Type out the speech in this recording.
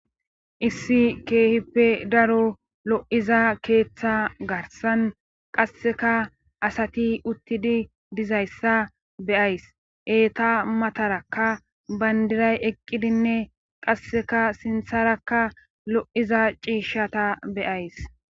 issi keehippe daro lo7iza keeththa garsan qasseka asati uttidi dizayssa beyays eeta matarakka bayndiray eqqidinne qasseka sintharakka lo7iza ciishshata beyays